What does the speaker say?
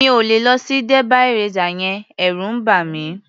Mi ò lè lọ sí derby racer yẹn. Ẹ̀rù ń bà mí.